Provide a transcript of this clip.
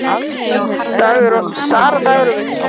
Sara, Dagur og Victor.